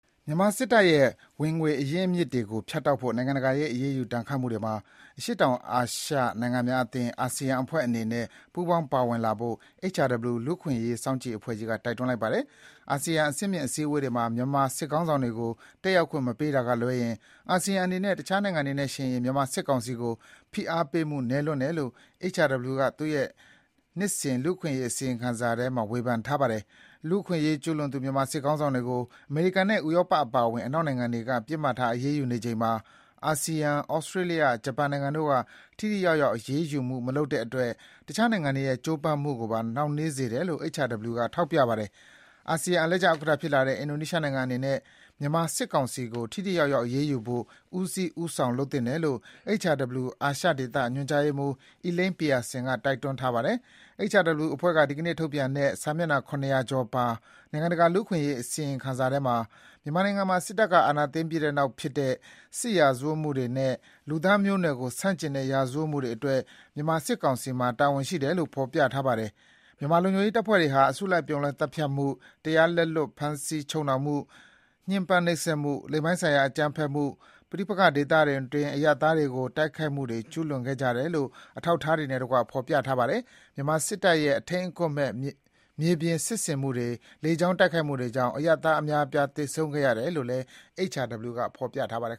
မြန်မာစစ်တပ်ရဲ့ ဝင်ငွေအရင်းအမြစ်တွေကို ဖြတ်တောက်ဖို့ နိုင်ငံတကာရဲ့အရေးယူဒဏ်ခတ်မှုတွေမှာ အရှေ့တောင်အာရှ ASEAN အဖွဲ့ဝင်နိုင်ငံတွေအနေနဲ့ ပူးပေါင်းပါဝင်လာဖို့ HRW လူ့အခွင့်အရေးအဖွဲ့ကြီးက တိုက်တွန်းပါတယ်။ အာဆီယံအဆင့်မြင့်အစည်းအဝေးတွေမှာ မြန်မာစစ်ခေါင်းဆောင်တွေကို တတ်ရောက်ခွင့်မပေးတာကလွဲရင်၊ အာဆီယံအနေနဲ့ အခြားနိုင်ငံတွေနဲ့ယှဉ်ရင် မြန်မာစစ်ကောင်စီကို ဖိအားပေးမှုနည်းလွန်းတယ်လို့ HRW က သူ့ရဲ့ နှစ်စဉ်လူ့အခွင့်အရေးအစီရင်ခံစာထဲ ဝေဖန်ထားပါတယ်။ လူ့အခွင့်အရေးကျူးလွန်သူ မြန်မာစစ်ခေါင်းဆောင်တွေကို အမေရိကန်နဲ့ ဥရောပအပါအဝင် အနောက်နိုင်ငံတွေက ပစ်မှတ်ထားအရေးယူနေချိန်မှာ၊ အာဆီယံ ဩစတေးလျ ဂျပန်နိုင်ငံတို့က ထိထိရောက်ရောက်အရေးယူမှုမလုပ်တဲ့အတွက် အခြားနိုင်ငံတွေရဲ့ကြိုးပမ်းမှုကိုပါ နှောင့်နှေးစေတယ်လို့ HRW က ထောက်ပြပါတယ်။ အာဆီယံအလှည့်ကျဥက္ကဌဖြစ်လာတဲ့ အင်ဒိုနီးရှားနိုင်ငံအနေနဲ့ မြန်မာစစ်ကောင်စီကို ထိထိရောက်ရောက်အရေးယူဖို့ ဦးစီးဦးဆောင်လုပ်သင့်တယ်လို့ HRW အာရှဒေသ ညွှန်ကြားရေးမှုး Elaine Pearson က တိုက်တွန်းထားပါတယ်။ HRW အဖွဲ့က ဒီကနေ့ထုတ်ပြန်တဲ့ စာမျက်နှာ ၇၀၀ ကျော်ပါ နိုင်ငံတကာလူ့အခွင့်အရေးအစီရင်ခံစာထဲမှာ မြန်မာနိုင်ငံမှာ စစ်တပ်အာဏာသိမ်းပြီးနောက်ဖြစ်တဲ့ စစ်ရာဇဝတ်မှုတွေနဲ့ လူသားမျိုးနွယ်ကိုဆန့်ကျင်တဲ့ရာဇဝတ်မှုတွေအတွက် မြန်မာစစ်ကောင်စီမှာ တာဝန်ရှိတယ်လို့ ဖော်ပြထားပါတယ်။ မြန်မာလုံခြုံရေးတပ်ဖွဲ့တွေဟာ အစုအပြုံလိုက်သတ်ဖြတ်မှု၊ တရားလက်လွတ်ဖမ်းဆီးချုပ်နှောင်မှု၊ ညှင်းပမ်းနှိပ်စက်မှု၊ လိင်ပိုင်းဆိုင်ရာအကြမ်းဖက်မှု၊ ပဋိပက္ခဒေသတွင်း အရပ်သားတွေကို တိုက်ခိုက်မှုတွေ ကျူးလွန်ခဲ့ကြတယ်လို့ အထောက်အထားတွေနဲ့တကွ ဖော်ပြပါတယ်။ မြန်မာစစ်တပ်ရဲ့ အထိမ်းအကွပ်မဲ့ မြေပြင်စစ်ဆင်မှုတွေ လေကြောင်းတိုက်ခိုက်မှုတွေကြောင့် အရပ်သားအများအပြား သေဆုံးခဲ့ရတယ်လို့လည်း HRW က ဖော်ပြပါတယ်